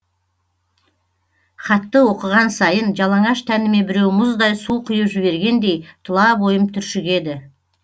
хатты оқыған сайын жалаңаш тәніме біреу мұздай су құйып жібергендей тұла бойым түршігеді